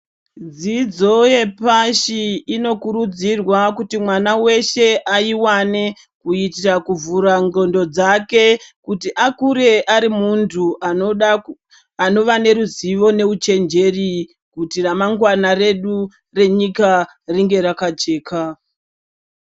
Dzidzo yepashi inokurudzirwa kuti mwana weshe aiwane kuitira kuvhura ndxondo dzake kuti akure ari muntu anoda, anova neruzivo neuchenjeri kuti ramangwana redu renyika ringe rakajeka.